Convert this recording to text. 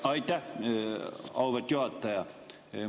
Aitäh, auväärt juhataja!